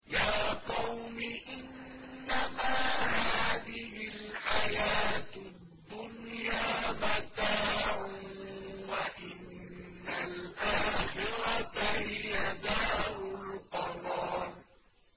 يَا قَوْمِ إِنَّمَا هَٰذِهِ الْحَيَاةُ الدُّنْيَا مَتَاعٌ وَإِنَّ الْآخِرَةَ هِيَ دَارُ الْقَرَارِ